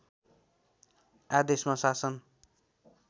आदेशमा शासन